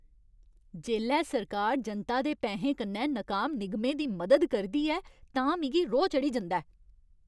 जेल्लै सरकार जनता दे पैहें कन्नै नकाम निगमें दी मदद करदी ऐ तां मिगी रोह् चढ़ी जंदा ऐ।